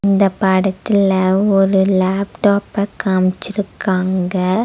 இந்தப் படத்துல ஒரு லேப்டாப்ப காம்ச்சுருக்காங்க.